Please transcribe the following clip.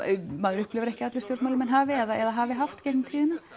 maður upplifir ekki að allir stjórnmálamenn hafi eða hafi haft gegnum tíðina